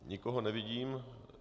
Nikoho nevidím.